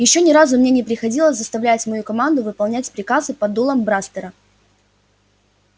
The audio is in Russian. ещё ни разу мне не приходилось заставлять мою команду выполнять приказы под дулом брастера